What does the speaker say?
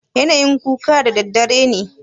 yana yin kuka daddadare ne?